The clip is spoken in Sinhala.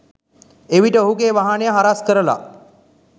එවිට ඔහුගේ වාහනය හරස්‌ කරලා